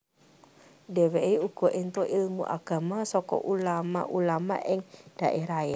Dheweke uga entuk ilmu agama saka ulama ulama ing dhaerahe